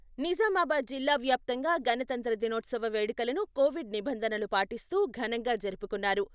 నిజామాబాద్ జిల్లా వ్యాప్తంగా గణతంత్ర దినోత్సవ వేడుకలను కోవిడ్ నిబంధనలు పాటిస్తూ ఘనంగా జరుపుకున్నారు.